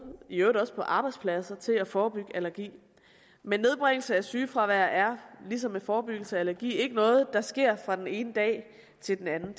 i øvrigt også på arbejdspladser til at forebygge allergi men nedbringelse af sygefravær er ligesom med forebyggelse af allergi ikke noget der sker fra den ene dag til den anden